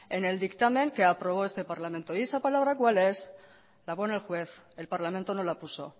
en el dictamen que aprobó este parlamento y esa palabra cuál es la pone el juez el parlamento no la puso